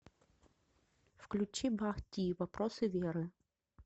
включи бах ти вопросы веры